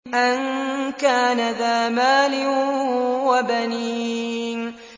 أَن كَانَ ذَا مَالٍ وَبَنِينَ